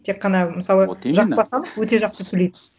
тек қана мысалы вот именно жақып асанов өте жақсы сөйлейді